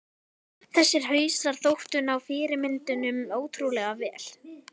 Þessir hausar þóttu ná fyrirmyndunum ótrúlega vel.